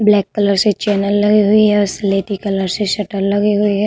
Black colour से channel लगी हुई है औ स्लेटी कलर से शटर लगे हुए है।